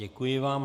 Děkuji vám.